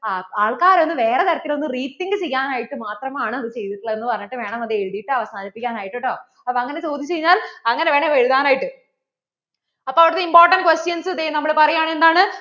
ആ ആള്‍ക്കാരത് ഒന്ന് വേറേ ഒരു തരത്തിൽ rethink ചെയ്യാൻ ആയിട്ട് മാത്രം ആണ് അത് ചെയ്‌തിട്ട്‌ ഉള്ളെ എന്ന് പറഞ്ഞിട്ട് വേണം അത് എഴുതിയിട്ട് അവസാനിപ്പിക്കാൻ ആയിട്ട് കേട്ടോ അപ്പോൾ അങ്ങനെ ചോദിച്ചു കഴിഞ്ഞാൽ അങ്ങനെ വേണം എഴുതാനായിട്ട് അപ്പോൾ അവിടുത്തെ important questions ദേ നമ്മൾ പറയാണ് എന്താണ്